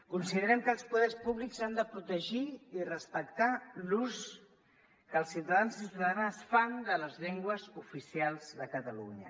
considerem que els poders públics han de protegir i respectar l’ús que els ciutadans i ciutadanes fan de les llengües oficials de catalunya